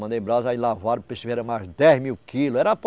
Mandei brasa e lavaram mais dez mil quilos. era